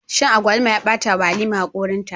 Shan agwaluma ya bata wa halima hakorinta